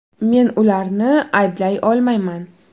Men ularni ayblay olmayman.